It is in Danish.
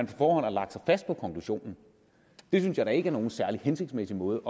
forhånd har lagt sig fast på konklusionen det synes jeg da ikke er nogen særlig hensigtsmæssig måde